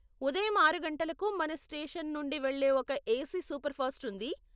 ఉదయం ఆరు గంటలకు మన స్టేషన్ నుండి వెళ్ళే ఒక ఏసీ సూపర్ఫాస్ట్ ఉంది.